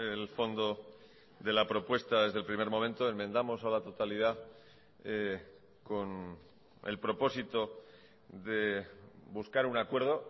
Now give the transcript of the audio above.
el fondo de la propuesta desde el primer momento enmendamos a la totalidad con el propósito de buscar un acuerdo